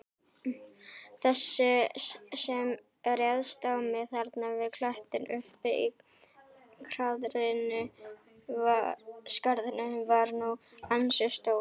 Þessi sem réðst á mig þarna við klettinn uppi í skarðinu var nú ansi stór.